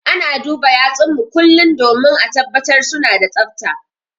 Ana duba yatsun mu kullum domin ã tabbatar suna da tsafta.